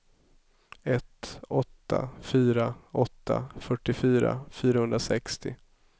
ett åtta fyra åtta fyrtiofyra fyrahundrasextio